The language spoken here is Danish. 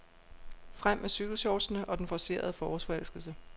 Frem med cykelshortsene og den forcerede forårsforelskelse.